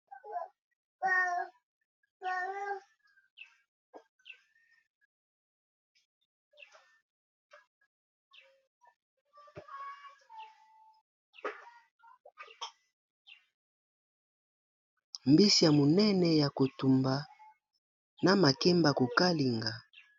Mbisi ya monene ya kotumba na makemba kokalinga.